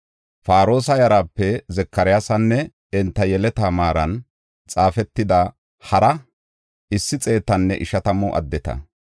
Paroosa yarape Zakaryaasanne enta yeleta maaran xaafetida hara issi xeetanne ishatamu addeta.